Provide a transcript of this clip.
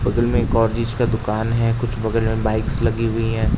बगल में एक और बीज का दुकान है। कुछ बगल में बाइक्स लगी हुई हैं।